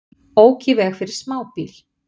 Ók í veg fyrir smábíl